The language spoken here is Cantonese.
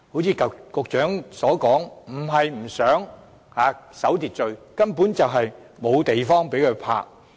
正如局長所說，它們不是不想守秩序，而是根本沒有地方可停泊。